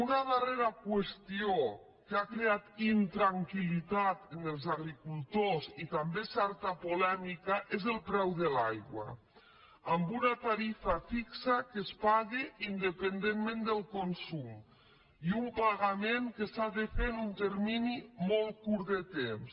una darrera qüestió que ha creat intranquil·litat als agricultors i també certa polèmica és el preu de l’aigua amb una tarifa fixa que es paga independentment del consum i un pagament que s’ha de fer en un termini molt curt de temps